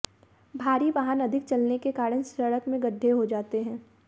भारी वाहन अधिक चलने के कारण सडक़ में गड्ढे हो जाते हैं